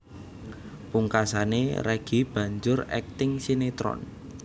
Pungkasané Reggy banjur akting sinétron